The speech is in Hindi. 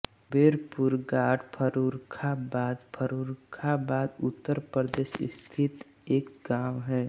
कुबेरपुर घाट फर्रुखाबाद फर्रुखाबाद उत्तर प्रदेश स्थित एक गाँव है